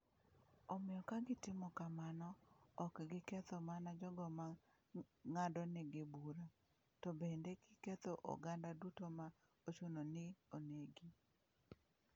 Omiyo ka gitimo kamano, ok giketho mana jogo ma ng’adonegi bura, to bende giketho oganda duto ma ochuno ni onegi.